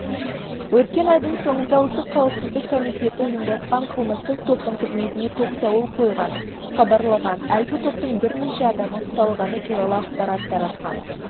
өткен айдың соңында ұлттық қауіпсіздік комитеті ұйымдасқын қылмыстық топтың қызметіне тоқсауыл қойғанын хабарлаған әлгі топтың бірнеше адамы ұсталғаны туралы ақпарат тараған